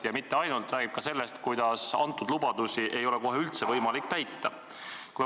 Ja mitte ainult – valitsus räägib ka sellest, et antud lubadusi ei ole kohe üldse võimalik täita.